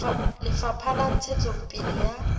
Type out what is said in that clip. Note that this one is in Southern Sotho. ya lefapha la ntshetsopele ya